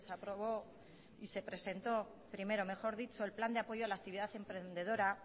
aprobó y se presentó primero mejor dicho el plan de apoyo a la actividad emprendedora